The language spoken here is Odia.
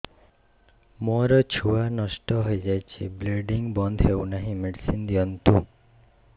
ମୋର ଛୁଆ ନଷ୍ଟ ହୋଇଯାଇଛି ବ୍ଲିଡ଼ିଙ୍ଗ ବନ୍ଦ ହଉନାହିଁ ମେଡିସିନ ଦିଅନ୍ତୁ